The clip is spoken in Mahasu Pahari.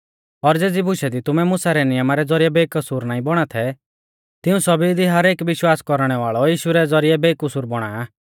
और ज़ेज़ी बुशा दी तुमै मुसा रै नियमा रै ज़ौरिऐ बेकसूर नाईं बौणा थै तिऊं सौभी दी हरेक विश्वास कौरणै वाल़ौ यीशु रै ज़ौरिऐ बेकसूर बौणा आ